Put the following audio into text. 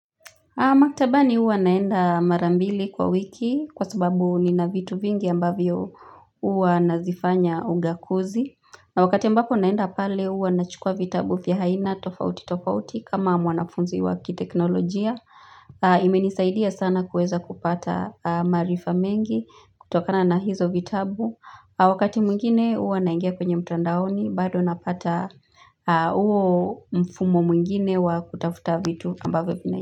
Maktabani huwa naenda mara mbili kwa wiki kwa sababu nina vitu vingi ambavyo huwa nazifanya ugakuzi na wakati ambapo naenda pale huwa nachukua vitabu vya aina tofauti tofauti kama mwanafunzi wa kiteknolojia imenisaidia sana kuweza kupata maarifa mengi kutokana na hizo vitabu wakati mwingine huwa naingia kwenye mtandaoni bado napata huo mfumo mwingine wa kutafuta vitu ambavyo.